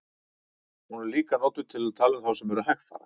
Hún er líka notuð um þá sem eru hægfara.